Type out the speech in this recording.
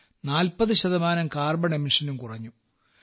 40 ശതമാനം കാർബൺ പുറന്തള്ളലും കുറഞ്ഞു